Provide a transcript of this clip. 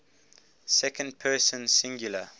second person singular